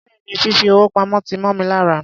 Béèni, fìfi owó pamó ti mó mi lára.